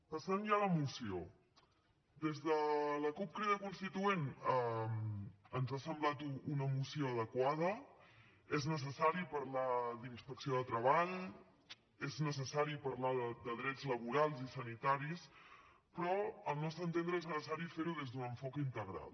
passant ja a la moció des de la cup crida constituent ens ha semblat una moció adequada és necessari parlar d’inspecció de treball és necessari parlar de drets laborals i sanitaris però al nostre entendre és necessari fer ho des d’un enfocament integral